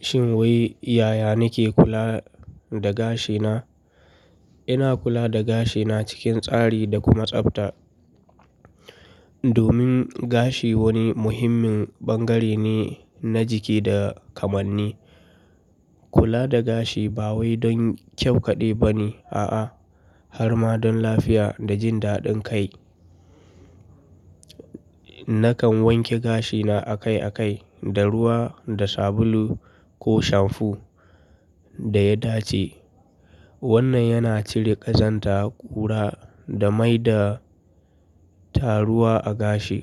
Shin wai yaya nake kula da gashina? Ina kula da gashina cikin tsari da kuma tsabta. Domin gashi wani muhimmin bangare ne na jiki da kamanni. Kula da gashi ba wai don kyau kaɗai ba ne, a'a har ma don lafiya da jin daɗin kai. Nakan wanke gashina akai akai da ruwa da sabulu ko shamfu da ya dace. Wannan yana cire ƙazanta, ƙura da maida taruwa a gashi.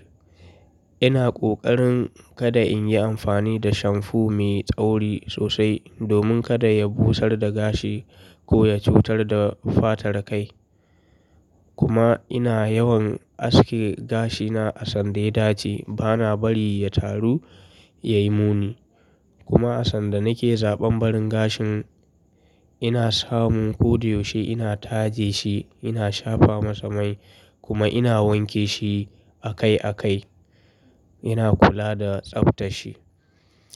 Ina ƙoƙarin kada in yi amfani da shamfu mai tsauri sosai domin kada ya busar da gashi ko ya cutar da fatar kai. Kuma ina yawan aske gashina a sanda ya dace, bana bari ya taru ya yi muni. Kuma a sanda nake zaɓan barin gashin, ina samun ko da yaushe ina taje shi, ina shafa masa mai kuma ina wanke shi akai akai. Ina kula da tsabtar shi.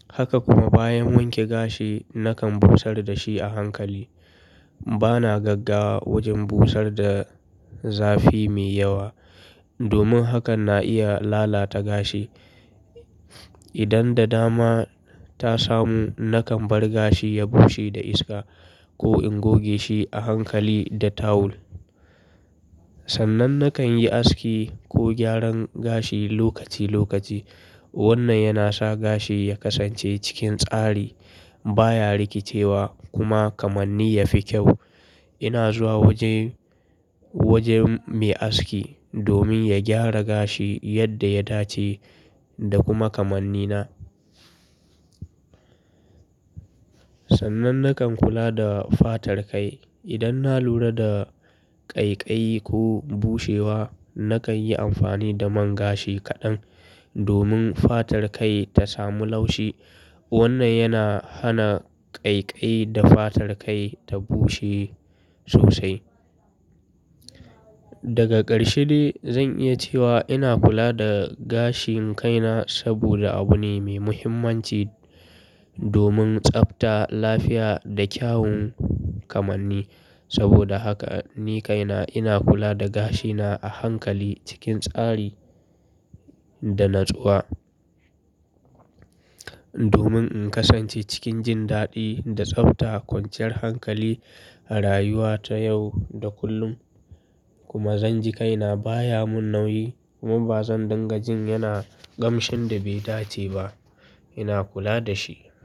Haka kuma bayan wanke gashi, na kan busar da shi a hankali. Bana gagga wajen busar da zafi mai yawa, domin hakan na iya lalata gashi. Idan da dama ta samu, nakan bar gashi ya bushe da iska ko in goge shi a hankali da tawul. Sannan nakan yi aski ko gyaran gashi lokaci lokaci. Wannan yana sa gashi ya kasance cikin tsari, baya rikicewa kuma kamanni ya fi kyau. Ina zuwa waje, wajen mai aski domin ya gyara gashi yadda ya dace da kuma kamanni na. Sannan nakan kula da fatar kai. Idan na lura da ƙaiƙayi ko bushewa, nakan yi amfani da man gashi kaɗan domin fatar kai ta samu laushi. Wannan yana hana ƙaiƙayi da fatar kai ta bushe sosai. Daga ƙarshe dai zan iya cewa ina kula da gashin kaina saboda abu ne mai muhimmanci domin tsabta lafiya da kyawun kamanni. Saboda haka ni kaina ina kula da gashina a hankali cikin tsari da natsuwa. Domin in kasance cikin jin daɗi da tsabta kwanciyar hankali a rayuwa ta yau da kullum. Kuma zan ji kaina baya mun nauyi kuma ba zan dinga jin yana ƙamshin da bai dace ba. Ina kula da shi.